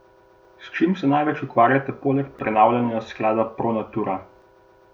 S čim se največ ukvarjate poleg prenavljanja Sklada Pro Natura?